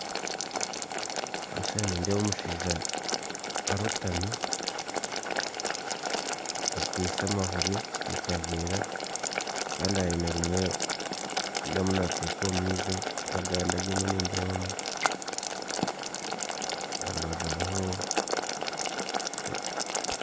omu kishushana nindeebamu omushaija arootami akwitse amahuuri omu kaveera kandi haine rimwe eri ariyo naata omu maizi